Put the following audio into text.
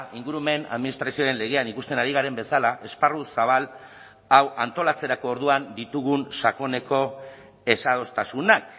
ingurumen administrazioaren legean ikusten ari garen bezala esparru zabal hau antolatzerako orduan ditugun sakoneko ezadostasunak